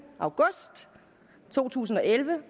august to tusind og elleve